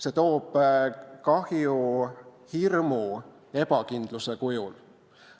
See toob kahju hirmu ja ebakindluse kujul.